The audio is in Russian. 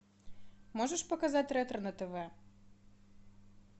можешь показать ретро на тв